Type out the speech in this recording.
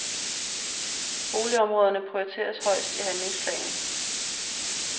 Boligområderne prioriteres højst i handlingsplanen.